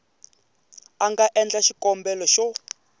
a nga endla xikombelo xo